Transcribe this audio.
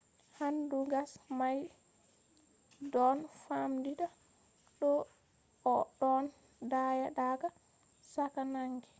hendu gas may ɗon famɗita to a ɗon daya daga cakka naange